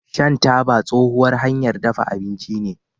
shan taba tsohuwar hanyar dafa abinci ce